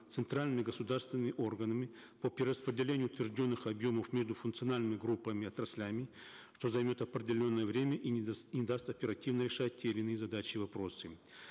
центральными государственными органами по перераспределению утвержденных объемов между функциональными группами отраслями что займет определенное время и не даст оперативно решать те или иные задачи и вопросы